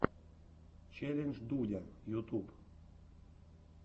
челлендж дудя ютюб